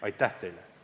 Aitäh teile!